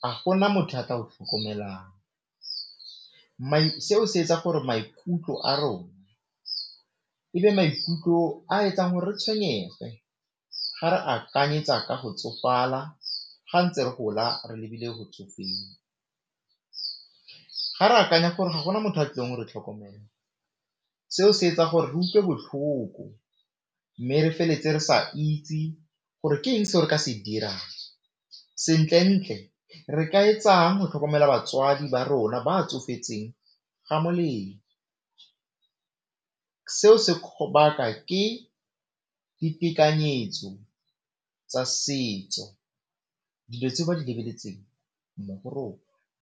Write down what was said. ga gona motho a tla go tlhokomelang seo se etsa gore maikutlo a rona ebe maikutlo a etsang gore re tshwenyege ga re akanyetsa ka go tsofala ga ntse re gola re lebile go tsofeng. Ga re akanya gore ga gona motho wa tlileng go re tlhokomela seo se etsa gore re utlwe botlhoko mme re feletse re sa itse gore ke eng se re ka se dirang, sentle-ntle re ka etsang go tlhokomela batswadi ba rona ba tsofetseng ga molemo, seo se ke ditekanyetso tsa setso dilo tse ba di lebeletseng mo rona.